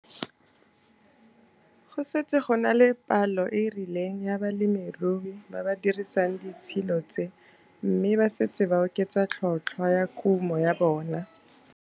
Go setse go na le palo e e rileng ya balemirui ba ba dirisang ditshilo tse mme ba setse ba oketsa tlhotlhwa ya kumo ya bona.